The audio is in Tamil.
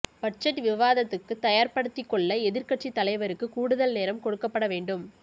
பட்ஜெட் விவாதத்துக்குத் தயார்ப்படுத்திக்கொள்ள எதிர்க்கட்சி தலைவருக்குக் கூடுதல் நேரம் கொடுக்கப்பட வேண்டும்